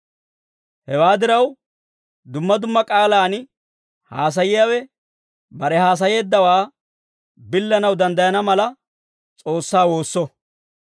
Hewaa diraw, dumma dumma k'aalaan haasayiyaawe bare haasayeeddawaa billanaw danddayana mala, S'oossaa woosso.